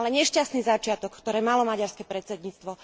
Ale nešťastný začiatok, ktorý malo maďarské predsedníctvo